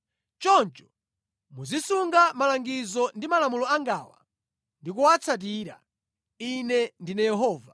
“ ‘Choncho muzisunga malangizo ndi malamulo angawa ndi kuwatsatira. Ine ndine Yehova.’ ”